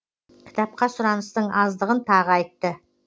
кітапқа сұраныстың аздығын тағы айтты